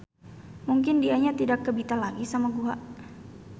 Mungkin dianya tidak kebita lagi sama guha.